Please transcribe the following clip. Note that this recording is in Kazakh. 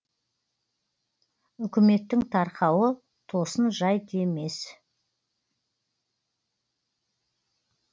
үкіметтің тарқауы тосын жайт емес